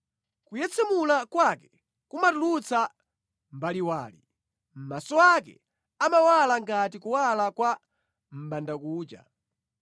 Kuyetsemula kwake kumatulutsa mbaliwali; maso ake amawala ngati kuwala kwa mʼbandakucha.